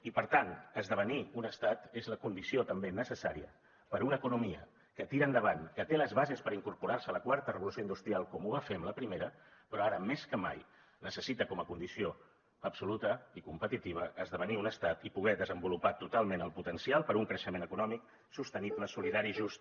i per tant esdevenir un estat és la condició també necessària per a una economia que tira endavant que té les bases per incorporar se a la quarta revolució industrial com ho va fer en la primera però ara més que mai necessita com a condició absoluta i competitiva esdevenir un estat i poder desenvolupar totalment el potencial per a un creixement econòmic sostenible solidari i just